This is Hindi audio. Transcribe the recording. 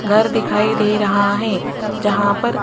घर दिखाई दे रहा है जहां पर--